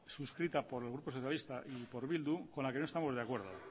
suscrita por el grupo socialista y por bildu con la que no estamos de acuerdo